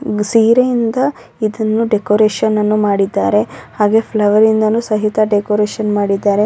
ಒಂದು ಸೀರೆಯಿಂದ ಇದನ್ನು ಡೆಕೊರೇಷನ್ ನನ್ನು ಮಾಡಿದ್ದಾರೆ ಹಾಗೆ ಫ್ಲವರ್ ಇಂದಾನು ಸಹಿತ ಡೆಕೊರೇಷನ್ ನ್ನು ಮಾಡಿದ್ದಾರೆ .